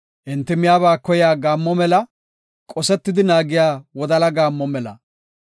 Enti miyaba koyiya gaammo mela; qosetidi naagiya wodala gaammo mela.